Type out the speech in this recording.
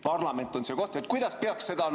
Parlament on see koht,.